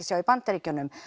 sjá í Bandaríkjunum